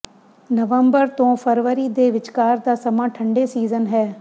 ਨਵੰਬਰ ਤੋਂ ਫਰਵਰੀ ਦੇ ਵਿਚਕਾਰ ਦਾ ਸਮਾਂ ਠੰਡੇ ਸੀਜ਼ਨ ਹੈ